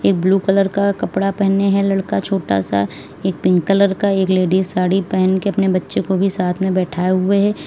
एक blue colour का कपड़ा पहने है लड़का छोटा सा एक पिंक कलर का एक लेडीज साड़ी पहन के अपने बच्चे को भी साथ बैठाए हुए हैं।